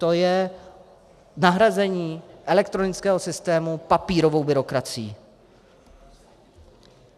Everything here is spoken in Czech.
To je nahrazení elektronického systému papírovou byrokracií.